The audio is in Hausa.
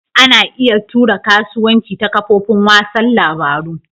Ana iya tura kasuwanci ta kafofin wasan labaru.